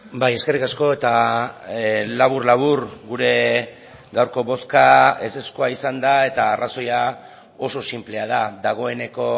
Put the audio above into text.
bai eskerrik asko eta labur labur gure gaurko bozka ezezkoa izan da eta arrazoia oso sinplea da dagoeneko